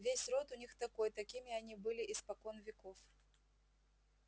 весь род у них такой такими они были испокон веков